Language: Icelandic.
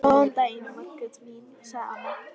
Annað gerði hann ekki þann daginn.